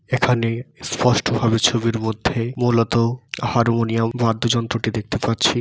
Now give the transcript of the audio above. এখানে স্পষ্ট ভাবে ছবির মধ্যেই মূলত হারমোনিয়াম বাদ্যযন্ত্রটি দেখতে পাচ্ছি।